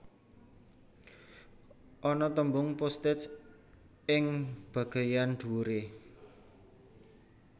Ana tembung postage ing bageyan dhuwure